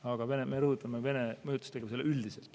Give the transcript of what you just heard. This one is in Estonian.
Aga me rõhutame Vene mõjutustegevust üldiselt.